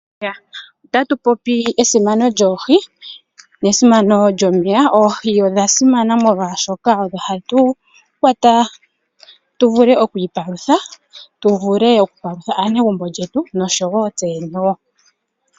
Ota tu popi esimano lyoohi nesimano lyomeya. Oohi odha simana molwashoka odho ha tu kwata tu vule okwiipalutha, tu vule okupalutha aanegumbo lyetu noshowo tse yene wo.